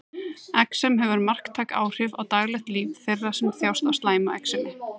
Exem hefur marktæk áhrif á daglegt líf þeirra sem þjást af slæmu exemi.